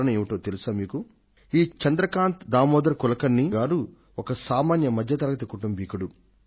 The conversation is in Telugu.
కారణం ఏమిటో మీకు తెలుసా ఈ చంద్రకాంత్ కులకర్ణి గారు ఒక సామాన్య మధ్యతరగతి కుటుంబికుడు